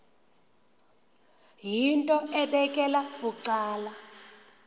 yinto ebekela bucala